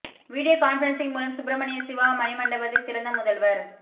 video conferencing மூலம் சுப்பிரமணிய சிவா மணி மண்டபத்தை திறந்த முதல்வர்